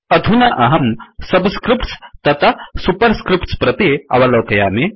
अधुना अहं subscripts तथा सुपर् स्क्रिफ्ट्स् प्रति अवलोकयामि